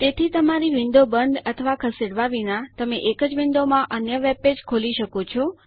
તેથી તમારી વિન્ડો બંધ અથવા ખસેડવા વિના તમે એક જ વિન્ડોમાં અન્ય વેબપેજ ખોલી શકો છો